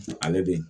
Ani bi